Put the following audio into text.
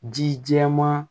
Ji jɛman